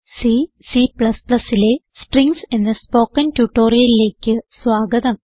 C Cലെ strings എന്ന spoken ട്യൂട്ടോറിയലിലേക്ക് സ്വാഗതം